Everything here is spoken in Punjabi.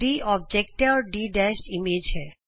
D ਅੋਬਜੇਕਟ ਹੈ ਅਤੇ D ਇਮੇਜ ਹੈ